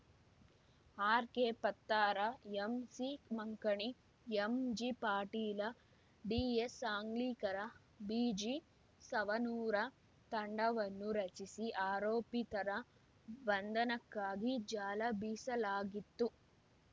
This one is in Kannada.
ಆರೆಕೆಪತ್ತಾರ ಎಮ್ಸಿ ಮಂಕಣಿಎಮ್ಜಿಪಾಟೀಲಡಿಎಸ್ಸಾಂಗ್ಲಿಕರಬಿಜಿಸವನೂರ ತಂಡವನ್ನು ರಚಿಸಿ ಆರೋಪಿತರ ಬಂಧನಕ್ಕಾಗಿ ಜಾಲ ಬೀಸಲಾಗಿತ್ತು